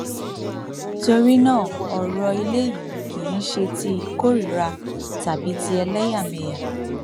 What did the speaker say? torí náà ọrọ ilé yìí kì í ṣe ti ìkóríra tàbí ti ẹlẹyàmẹyà